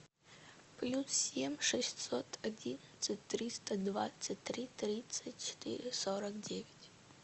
плюс семь шестьсот одиннадцать триста двадцать три тридцать четыре сорок девять